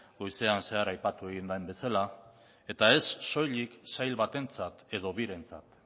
goizen zehar aipatu egin den bezala eta ez soilik sail batentzat edo birentzat